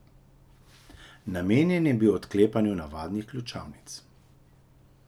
Namenjen je bil odklepanju navadnih ključavnic.